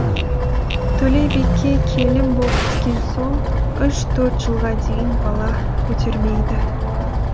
төлебике келін боп түскен соң үш төрт жылға дейін бала көтермейді